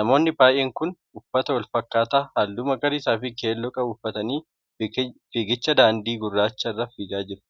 Namoonni baay'een kun uffata wal fakkaataa halluu magariisaa fi keelloo qabu uffatanii fiigicha daadii gurraacha irra fiigaa jiru.